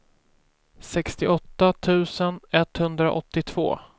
sextioåtta tusen etthundraåttiotvå